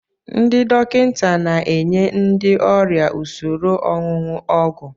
Ndị dọkịta na enye ndị ọrịa usoro ọṅụṅụ ọgwụ.